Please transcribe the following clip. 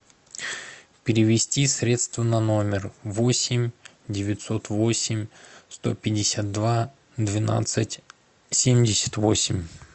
перевести средства на номер восемь девятьсот восемь сто пятьдесят два двенадцать семьдесят восемь